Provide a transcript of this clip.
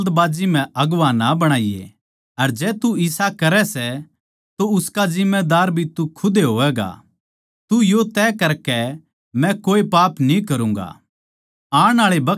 किसे ताहीं जल्दबाजी म्ह अगुवां ना बणाईये अर जै तू इसा करै सै तो उसका जिम्मेदार भी तू खुद होवैगा तू यो तय करके मै कोए पाप कोनी करूँगा